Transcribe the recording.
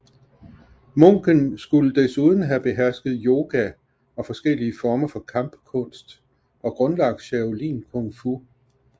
Munken skulle desuden have behersket yoga og forskellige former for kampkunst og grundlagt shaolin kung fu